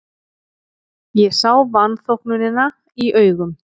Ég sá vanþóknunina í augum